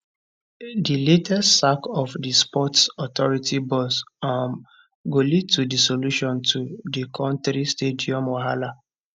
di latest sack of di sports authority boss um go lead to di solution to di kontri stadium wahala